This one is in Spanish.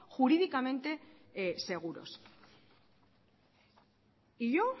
jurídicamente seguros y yo